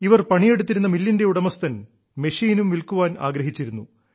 ഇവർ പണിയെടുത്തിരുന്ന മില്ലിന്റെ ഉടമസ്ഥൻ മെഷീനും വിൽക്കാൻ ആഗ്രഹിച്ചിരുന്നു